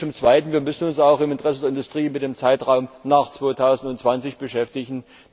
Zum Zweiten Wir müssen uns auch im Interesse der Industrie mit dem Zeitraum nach 2020 beschäftigen.